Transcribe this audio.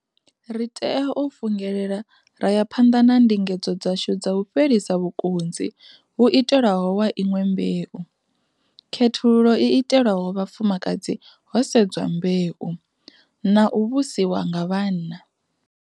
Ri tea u fungelela ra ya phanḓa na ndingedzo dzashu dza u fhelisa vhukunzi vhu itelwaho wa inwe mbeu, khethululo i itelwaho vhafumakadzi ho sedzwa mbeu, na u vhusiwa nga vhanna.